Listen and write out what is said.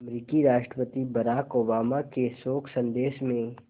अमरीकी राष्ट्रपति Barack Obama के शोक संदेश में